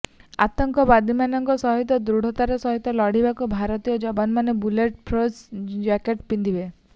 ଆତଙ୍କବାଦୀଙ୍କ ସହିତ ଦୃଢ଼ତାର ସହିତ ଲଢ଼ିବାକୁ ଭାରତୀୟ ଯବାନମାନେ ବୁଲେଟ୍ ଫ୍ରୁଫ୍ ଜ୍ୟାକେଟ୍ ପିନ୍ଧିବେ